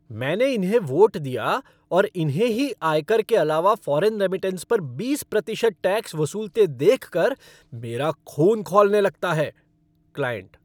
मैंने इन्हें वोट दिया और इन्हें ही आयकर के अलावा फ़ॉरेन रेमिटेंस पर बीस प्रतिशत टैक्स वसूलते देखकर मेरा खून खौलने लगता है। क्लाइंट